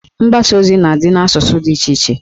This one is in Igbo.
Mgbasa ozi na adị n'asụsụ dị iche iche